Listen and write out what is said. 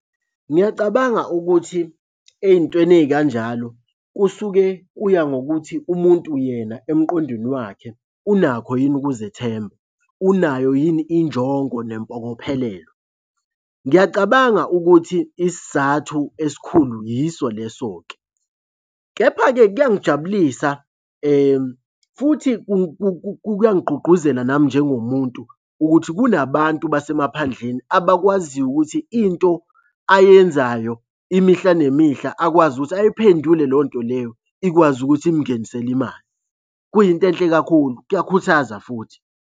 Ngiyacabanga ukuthi ey'ntweni ey'kanjalo kusuke kuya ngokuthi umuntu yena emqondweni wakhe unakho yini ukuzethemba, unayo yini injongo nempokophelelo? Ngiyacabanga ukuthi isizathu esikhulu yiso leso-ke, kepha-ke kuyangijabulisa futhi kuyangigqugquzela nami njengomuntu ukuthi kunabantu basemaphandleni abakwaziyo ukuthi into ayenzayo imihla nemihla akwazi ukuthi ayiphendule leyo nto leyo ikwazi ukuthi imungenisele imali. Kuyinto enhle kakhulu, kuyakhuthaza futhi.